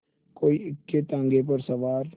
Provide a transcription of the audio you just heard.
कोई इक्केताँगे पर सवार